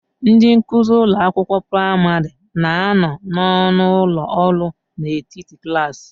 Ndị nkuzi ụlọ akwụkwọ praịmarị na-anọ n'ọnụ ụlọ ọrụ n'etiti klaasị.